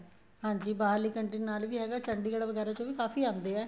ਹਾਂਜੀ ਬਾਹਰਲੀਆਂ ਕੰਨਟਰੀਆਂ ਨਾਲ ਵੀ ਹੈਗਾ ਚੰਡੀਗੜ੍ਹ ਚ ਵੀ ਕਾਫ਼ੀ ਆਂਦੇ ਹੈ